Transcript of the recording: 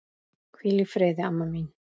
Hvíl í friði, amma mín.